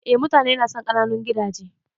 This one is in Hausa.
Eh mutane nasan ƙananun gidaje.